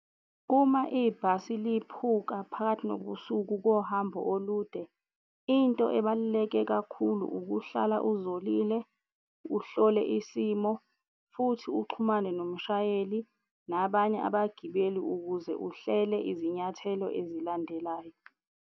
Uma ibhasi liphuka phakathi nobusuku kohambo olude, into ebaluleke kakhulu ukuhlala uzolile, uhlole isimo futhi uxhumane nomshayeli nabanye abagibeli ukuze uhlele izinyathelo ezilandelayo.